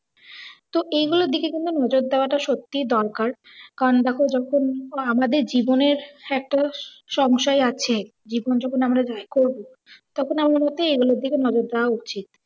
তো এইগুলোর দিকে কিন্তু নজর দেওয়াটা সত্তিই দরকার কারণ দেখো যখন আমাদের জীবনের সংশয় আছে, জীবন যখন তখন আমার মতে এগুলোর দিকে নজর দেওয়া উচিৎ।